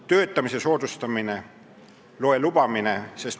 Teiseks, töötamise soodustamine .